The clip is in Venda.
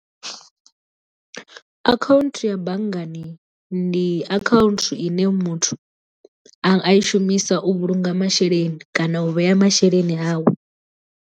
Account ya banngani ndi account ine muthu a i shumisa u vhulunga masheleni kana u vhea masheleni awe.